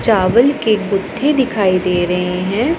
चावल के गुत्थे दिखाई दे रहे हैं।